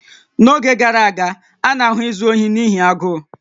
N'oge gara aga, a na-ahụ izu ohi n'ihi agụụ